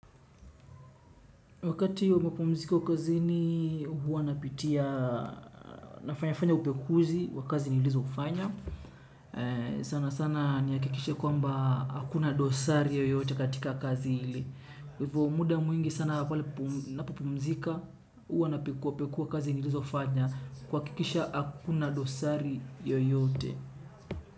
Wakati wa mapumziko kazini, huwa napitia, nafanya fanya upekuzi, wakazi nilizofanya. Sana sana nihakikisha kwamba hakuna dosari yoyote katika kazi ile. Hivyo muda mwingi sana ninapopumzika, huwa napekua pekua kazi nilizofanya kuhakikisha hakuna dosari yoyote.